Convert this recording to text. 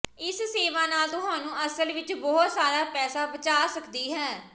ਇਸ ਸੇਵਾ ਨਾਲ ਤੁਹਾਨੂੰ ਅਸਲ ਵਿੱਚ ਬਹੁਤ ਸਾਰਾ ਪੈਸਾ ਬਚਾ ਸਕਦੀ ਹੈ